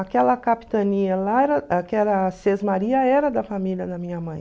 Aquela capitania lá, aquela sesmaria, era da família da minha mãe.